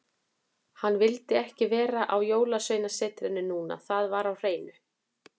Hann vildi ekki vera á Jólasveinasetrinu núna, það var á hreinu.